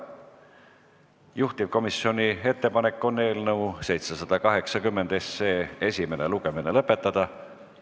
Juhtivkomisjoni ettepanek on eelnõu 780 esimene lugemine lõpetada.